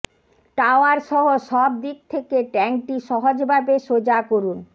tower সহ সব দিক থেকে ট্যাঙ্কটি সহজভাবে সোজা করুন